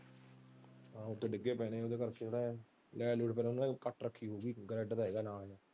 ਹਾਂ ਓਥੇ ਡਿਗੇ ਪਏ ਨੇ light ਲੂਟ cut ਰੱਖੀ ਨਾਲ।